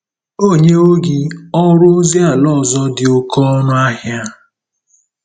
O nyewo gị ọrụ ozi ala ọzọ dị oké ọnụ ahịa. ”